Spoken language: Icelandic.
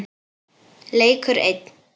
Leikur einn.